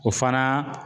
O fana